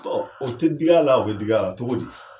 Bɔn o te dig' ala o be dig'la togo di